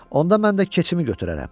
Onda mən də keçimi götürərəm.